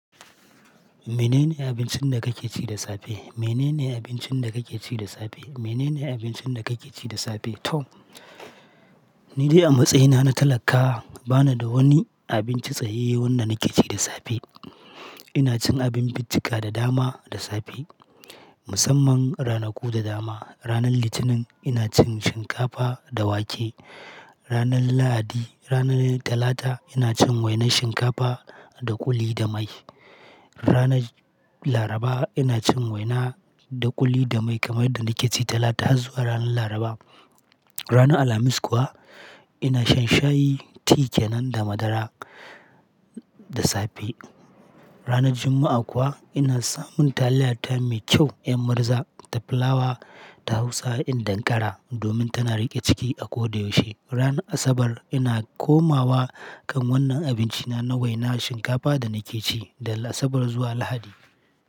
Mene ne abincin da kake ci da safe? Mene ne abincin da kake ci da safe? Mene ne abincin da kake ci da safe? To, ni dai a matsayina na talaka bana da wani abinci tsayaiye wanda nake ci da safe. Ina cin abin bicika da dama da safe. Musamman ranaku da dama. Ranar Litinin ina cin shinkafa da wake. Ranar Lahadi, ranar Talata ina cin wainar shinkafa da kuli da mai. Ranar Laraba ina cin waina da kuli da mai kamar yadda nake ci Talata zuwa ranar Laraba. Ranar Alhamis kuwa ina shan shayi, ti kenan da madara da safe. Ranar Juma'a kuwa ina samun taliya ta mai kyau, 'yan murza da fulawa ta Hausa in dankara domin tana riƙe ciki a ko da yaushe. Ranar Asabar ina komawa kan wannan abinci na, na waina shinkafa da nake ci daga Asabar zuwa Lahadi.